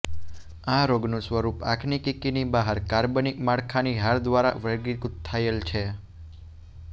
આ રોગનું સ્વરૂપ આંખની કીકીની બહાર કાર્બનિક માળખાની હાર દ્વારા વર્ગીકૃત થયેલ છે